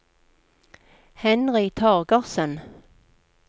Henry Torgersen